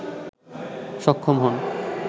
সক্ষম হন